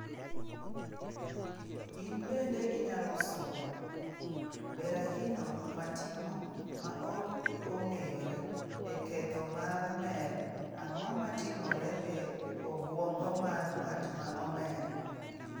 In bende inyalo somo: Berahino matimo ma ok ong'eyore e ketho mar mer Ang'o matimore e obwongo mar ng'at ma omer?